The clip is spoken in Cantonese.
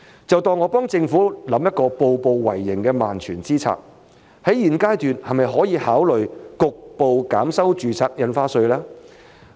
就當我幫政府想一個步步為營的萬全之策，在現階段是否可以考慮局部減收住宅印花稅？